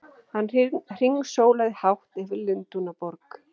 Hann hringsólaði hátt yfir Lundúnaborg!